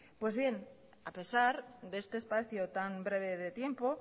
pues bien a pesar de este espacio tan breve de tiempo